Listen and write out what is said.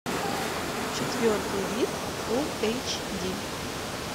четвертый вид фул эйч ди